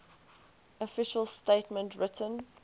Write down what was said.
official statement written